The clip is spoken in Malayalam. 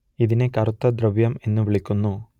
ഇതിനെ കറുത്ത ദ്രവ്യം എന്നു വിളിക്കുന്നു